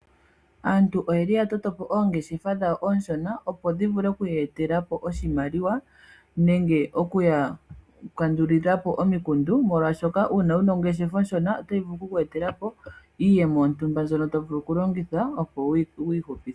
Aantu oya toto po oongeshefa dhawo oonshona, opo dhi ya etele po iimaliwa nenge oku ya kandulila po omikundu, molwashoka uuna wu na ongeshefa onshono otayi vulu oku ku etela po iiyemo yontumba mbyono to vulu okulongitha opo wu ihupithe.